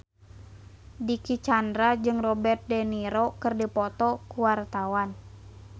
Dicky Chandra jeung Robert de Niro keur dipoto ku wartawan